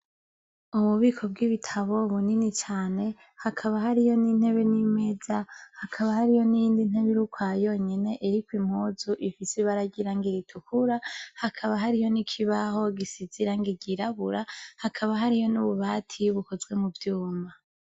Ububiko bw’ibitabo bunini cane, hakaba hariyo n’intebe n’imeza, hakaba hariyo niyindi ntebe ir’ukwayonyene, irikw’impuzu ifis’irangi ritukura, hakaba hariyo n’ikibaho gisize irangi ry’irabura, hakaba hariyo n’ububati bukoze muvyuma.